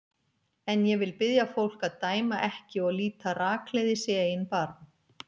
En ég vil biðja fólk að dæma ekki og líta rakleiðis í eigin barm.